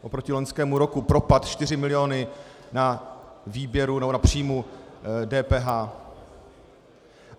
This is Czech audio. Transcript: Oproti loňskému roku propad 4 miliony na výběru nebo na příjmu DPH.